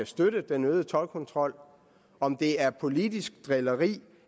støtte den øgede toldkontrol om det er politisk drilleri